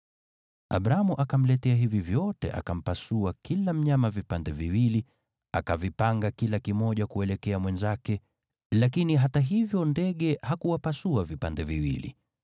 Abramu akamletea hivi vyote, akampasua kila mnyama vipande viwili, akavipanga kila kimoja kuelekea mwenzake, lakini hata hivyo ndege, hakuwapasua vipande viwili.